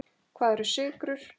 Hvað eru sykrur?